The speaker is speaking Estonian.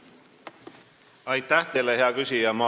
Aitäh teile, hea küsija!